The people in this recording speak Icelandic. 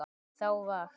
Þá var